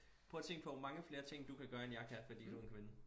Prøv at tænk på hvor mange flere ting du kan gøre end jeg kan fordi du er en kvinde